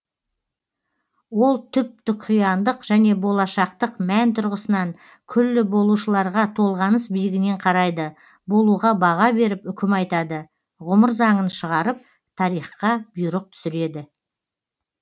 ол түп түқияндық және болашақтық мән тұрғысынан күллі болушыларға толғаныс биігінен қарайды болуға баға беріп үкім айтады ғұмыр заңын шығарып тарихқа бұйрық түсіреді